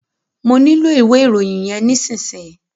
Mọ nílò ìwé ìròyìn yẹn nísìsiyìí.